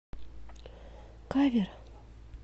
кавер